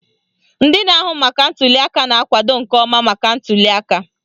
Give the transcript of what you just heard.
Ndị na-ahụ maka ntuliaka na-akwado nke ọma maka ntuliaka.